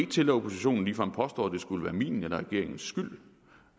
til at oppositionen ligefrem påstår at det skulle være min eller regeringens skyld